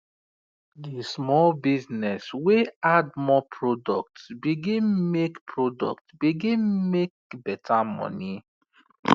the small business wey add more product begin make product begin make better money